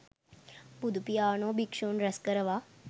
බුදුපියාණෝ භික්ෂූන් රැස් කරවා